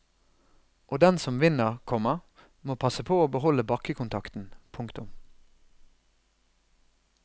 Og den som vinner, komma må passe på å beholde bakkekontakten. punktum